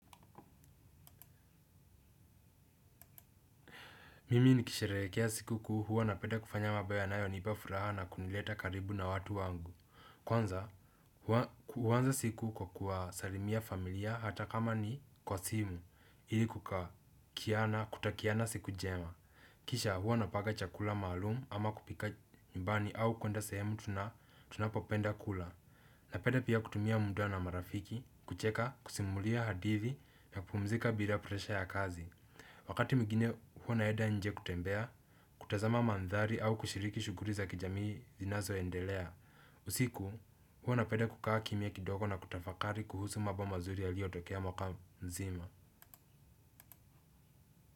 Mimi nikisherehekea siku kuu hua napenda kufanya mambo yanayo nipa furaha na kunileta karibu na watu wangu. Kwanza, kwanza siku kwa kusalimia familia hata kama ni kwa simu, ili kutakiana siku njema. Kisha huwa napanga chakula maalum ama kupika nyumbani au kwenda sehemu tunapopenda kula. Napenda pia kutumia muda na marafiki kucheka kusimulia hadithi na kupumzika bila presha ya kazi. Wakati mwingine huwa naenda nje kutembea, kutazama maandhari au kushiriki shughuli za kijamii zinazo endelea. Usiku huwa napenda kukaa kimya kidogo na kutafakari kuhusu mambo mazuri yaliyo tokea mwaka mzima.